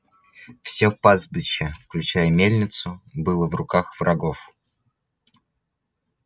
всё пастбище включая и мельницу было в руках врагов